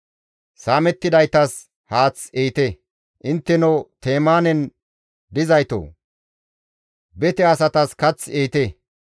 Saamettidaytas haath ehite; intteno Temaanen dizaytoo! Bete asatas kath ehite.